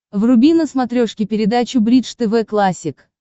вруби на смотрешке передачу бридж тв классик